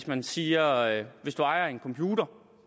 man siger at hvis du ejer en computer